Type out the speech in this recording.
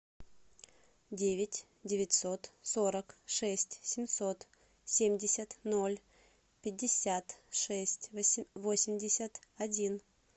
девять девятьсот сорок шесть семьсот семьдесят ноль пятьдесят шесть восемьдесят один